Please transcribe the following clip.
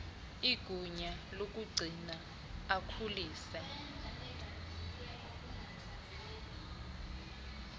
igunya lokugcina akhulise